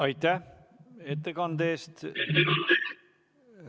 Aitäh ettekande eest!